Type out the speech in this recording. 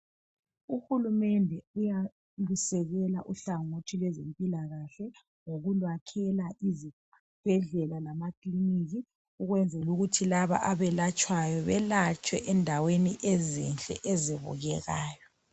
Uhulumende uyalusekela uhlangothi lwezempilakahle , ngokuluyakhela izibhedlela lamakiliniki okwenzela ukuthi laba abelatshwayo belatshwe ezindaweni ezibukekayo.